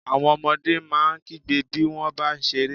Àwọn ọmọdé máa ń kígbe bí wọ́n bá ń ṣeré.